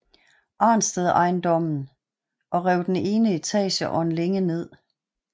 Arnstedt ejendommen og rev den ene etage og en længe ned